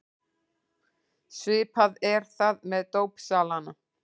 Svipað er það með dópsalana.